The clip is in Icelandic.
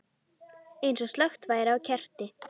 Eins og slökkt væri á kerti.